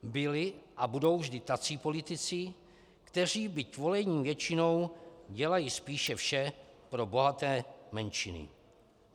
Byli a budou vždy tací politici, kteří, byť volení většinou, dělají spíše vše pro bohaté menšiny.